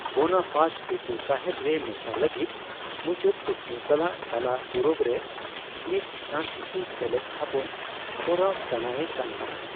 Bonaparte Tipu Sahib ᱨᱮ ᱢᱮᱥᱟ ᱞᱟᱹᱜᱤᱫ ᱢᱩᱪᱟᱹᱫ ᱠᱩᱠᱢᱩ ᱥᱟᱞᱟᱜ ᱛᱟᱞᱟ ᱯᱩᱨᱩᱵ ᱨᱮ ᱢᱤᱫ ᱯᱷᱨᱟᱥᱤᱥᱤ ᱥᱮᱞᱮᱫ ᱛᱷᱟᱯᱚᱱ ᱠᱚᱨᱟᱣ ᱥᱟᱱᱟᱭᱮ ᱠᱟᱱ ᱛᱟᱦᱮᱸ᱾